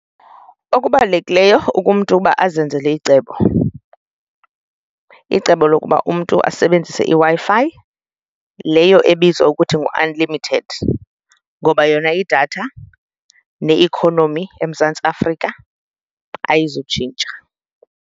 Okubalulekileyo umntu ukuba azenzele icebo, icebo lokuba umntu asebenzise iWi-Fi leyo ebizwa ukuthi ngu-unlimited ngoba yona idatha ne-economy eMzantsi Afrika ayizutshintsha.